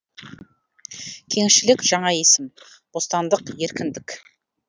кеңшілік жаңа есім бостандық еркіндік